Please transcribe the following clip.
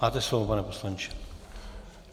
Máte slovo, pane poslanče.